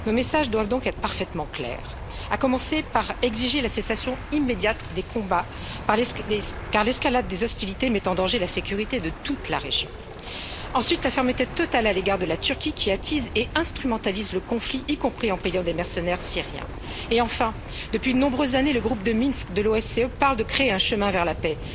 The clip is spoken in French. Notre message doit donc être parfaitement clair cessation immédiate des combats, car l'escalade des hostilités met en danger la sécurité de toute la région, et fermeté totale à l'égard de la Turquie, qui attise et instrumentalise le conflit, y compris en payant des mercenaires syriens. Et enfin, depuis de nombreuses années, le Groupe de Minsk de l'OSCE parle de créer un chemin vers la paix.